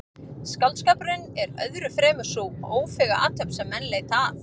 Skáldskapurinn er öðru fremur sú ófeiga athöfn sem menn leita að.